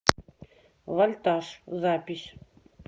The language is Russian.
вольтаж запись